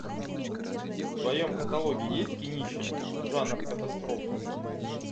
в твоем каталоге есть кинище жанр катастрофа